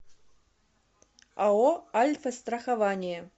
ао альфастрахование